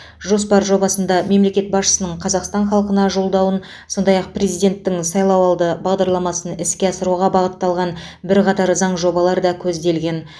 жоспар жобасында мемлекет басшысының қазақстан халқына жолдауын сондай ақ президенттің сайлауалды бағдарламасын іске асыруға бағытталған бірқатар заң жобалар да көзделген